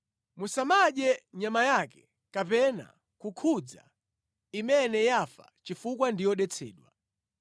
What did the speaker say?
Musamadye nyama yake kapena kukhudza imene yafa chifukwa ndi yodetsedwa.